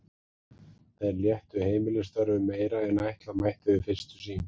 Þeir léttu heimilisstörfin meira en ætla mætti við fyrstu sýn.